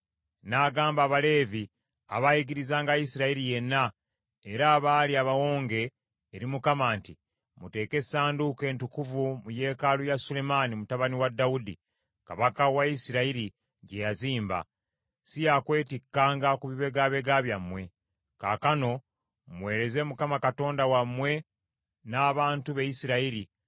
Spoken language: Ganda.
N’agamba Abaleevi abaayigirizanga Isirayiri yenna, era abaali abawonge eri Mukama nti, “Muteeke essanduuko entukuvu mu yeekaalu ya Sulemaani mutabani wa Dawudi, kabaka wa Isirayiri, gye yazimba. Si yaakwetikkanga ku bibegabega byammwe. Kaakano muweereze Mukama Katonda wammwe n’abantu be Isirayiri,